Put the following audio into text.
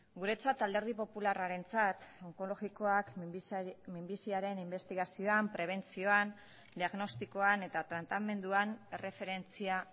guretzat alderdi popularrarentzat onkologikoak minbiziaren inbestigazioan prebentzioan diagnostikoan eta tratamenduan erreferentzia